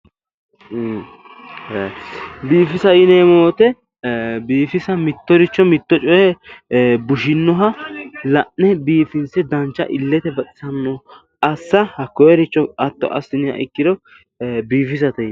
Biifisa yineemmo woyiite biifisabmittoricho mitto coye bushinnoha la'ne biifinse illete baxisannoha assa hakkoyeericho hatto assiniro biifisate yinanni